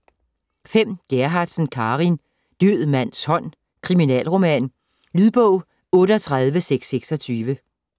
Gerhardsen, Carin: Død mands hånd: kriminalroman Lydbog 38626